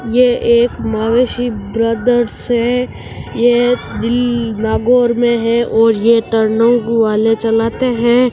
ये यक महैंशी ब्रदर्स हैं ये विल नागौर --